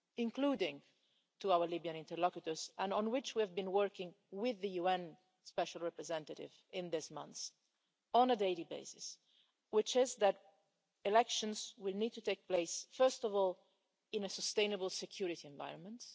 including to our Libyan interlocutors and on which we have been working with the UN special representative in these months on a daily basis, which is that elections will need to take place first of all in a sustainable security environment.